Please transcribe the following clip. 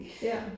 Ja